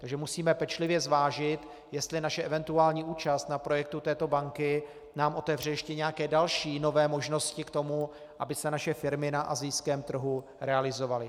Takže musíme pečlivě zvážit, jestli naše eventuální účast na projektu této banky nám otevře ještě nějaké další nové možnosti k tomu, aby se naše firmy na asijském trhu realizovaly.